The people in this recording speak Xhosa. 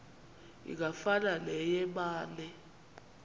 ingafana neye mane